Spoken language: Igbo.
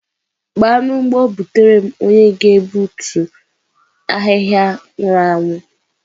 Gbaa n'ugbo butere m onye na-egbutu ahihia nwuru anwu